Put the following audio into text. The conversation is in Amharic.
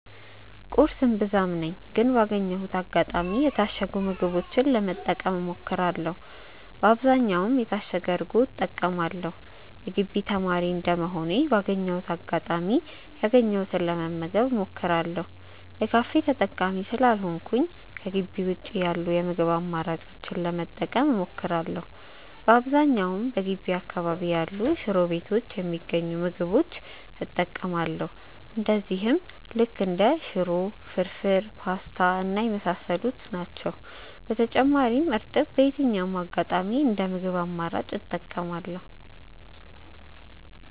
ቁርስ እምብዛም ነኝ ግን ባገኘሁት አጋጣሚ የታሸጉ ምግቦችን ለመጠቀም እሞክራለው በአብዛኛውም የታሸገ እርጎ እጠቀማለው። የግቢ ተማሪ እንደመሆኔ ባገኘሁት አጋጣሚ ያገኘሁትን ለመመገብ እሞክራለው። የካፌ ተጠቃሚ ስላልሆንኩኝ ከጊቢ ውጪ ያሉ የምግብ አማራጮችን ለመጠቀም እሞክራለው። በአብዛኛውም በገቢ አካባቢ ያሉ ሽሮ ቤቶች የሚገኙ ምግቦች እጠቀማለው እነዚህም ልክ እንደ ሽሮ፣ ፍርፉር፣ ፖስታ እና የመሳሰሉት። በተጨማሪም እርጥብ በየትኛውም አጋጣሚ እንደ ምግብ አማራጭ እጠቀማለው።